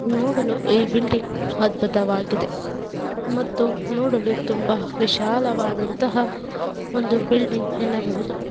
ಇಲ್ಲಿ ನೋಡಲು ಈ ಬಿಲ್ಡಿಂಗ್ ಅದ್ಭುತವಾಗಿದೆ ಮತ್ತು ನೋಡಲು ತುಂಬಾ ವಿಶಾಲವಾದಂತ ಒಂದು ಬಿಲ್ಡಿಂಗ್ ಎನ್ನಬಹುದು.